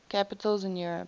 capitals in europe